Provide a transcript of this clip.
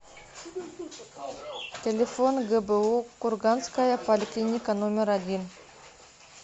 телефон гбу курганская поликлиника номер один